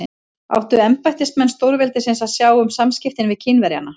Áttu embættismenn stórveldisins að sjá um samskiptin við Kínverjana?